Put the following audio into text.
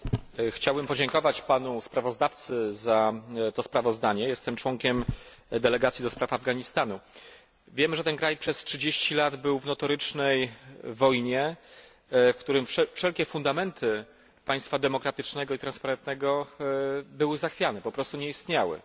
Pani Przewodnicząca! Chciałbym podziękować panu sprawozdawcy za to sprawozdanie. Jestem członkiem delegacji do spraw Afganistanu. Wiem, że ten kraj przez 30 lat był w notorycznej wojnie, w tym kraju wszelkie fundamenty państwa demokratycznego i transparentnego były zachwiane, po prostu nie istniały.